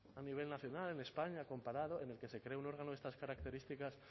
a nivel nacional en españa comparado en el que se cree un órgano de estas características